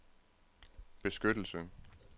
beskyttelse